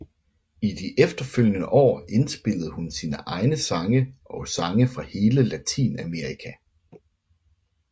I de efterfølgende år inspillede hun sine egne sange og sange fra hele Latinamerika